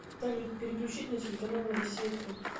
салют переключить на телеканал россия к